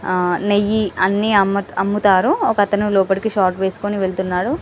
హ నెయ్యి అన్ని అమ్ముతారు ఒకతను లోపాలకి షార్ట్ వేసుకొని వెళ్తున్నాడు --